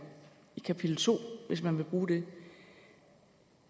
i kapitel to hvis man vil bruge den